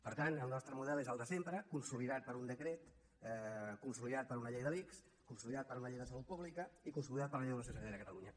per tant el nostre model és el de sempre consolidat per un decret consolidat per una llei de l’ics consolidat per una llei de salut pública i consolidat per la llei d’ordenació sanitària de catalunya